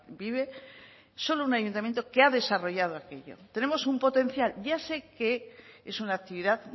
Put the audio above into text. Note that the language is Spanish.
vive solo un ayuntamiento que ha desarrollado aquello tenemos un potencial ya sé que es una actividad